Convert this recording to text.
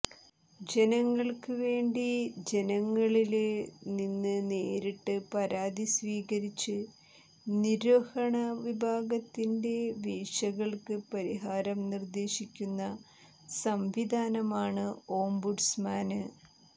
ജനങ്ങള്ക്ക് വേണ്ടി ജനങ്ങളില് നിന്ന് നേരിട്ട് പരാതി സ്വീകരിച്ച് നിര്വഹണ വിഭാഗത്തിന്റെ വീഴ്ചകള്ക്ക് പരിഹാരം നിര്ദേശിക്കുന്ന സംവിധാനമാണ് ഓംബുഡ്സ്മാന്